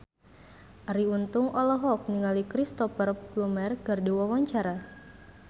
Arie Untung olohok ningali Cristhoper Plumer keur diwawancara